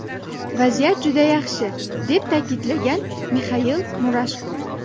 Vaziyat juda yaxshi”, deb ta’kidlagan Mixail Murashko.